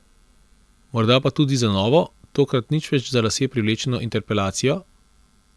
Morda pa tudi za novo, tokrat nič več za lase privlečeno interpelacijo?